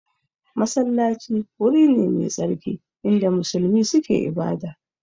Masallaci wuri ne mai tsarki inda musulmi suke ibada